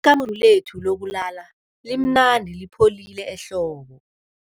Ikamuru lethu lokulala limnandi lipholile ehlobo.